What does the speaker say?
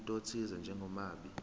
umuntu othize njengomabi